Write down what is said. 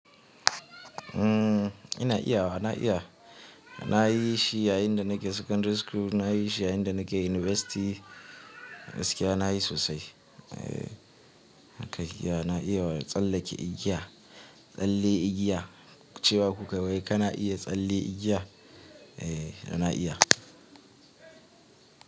Mm ina iya wa, na iya. Na yi shi yayin da nake secondary school, na yi shi yayin da nake university, gaskiya na yi sosai. Eh haka iya na iya wa tsallake igiya, tsalle igiya. Cewa ku kai wai kana iya tsalle igiya? Eh na iya.